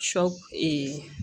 Sɔ